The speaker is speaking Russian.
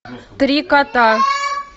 три кота